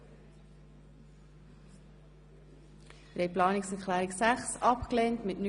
Schlussabstimmung (Geschäft 2017.RRGR.102;